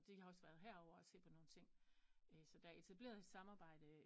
Og de har også været her ovre og se på nogen ting så der er etableret et samarbejde